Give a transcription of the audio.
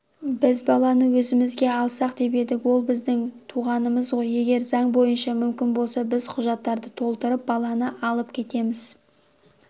біз баланы өзімізге алсақ деп едік ол біздің туғанымыз ғой егер заң бойынша мүмкін болса біз құжаттарды толтырып баланы алып кетеміз